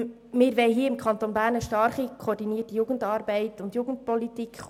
Wir wollen im Kanton Bern eine stark koordinierte Jugendarbeit und Jugendpolitik.